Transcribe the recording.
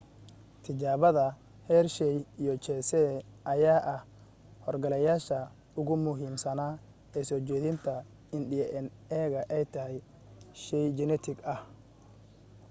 tijaabada hershey iyo chase ayaa ah hor galayaasha ugu muhiimsana ee soo jeedintii in dna ay tahay shey jinetik ah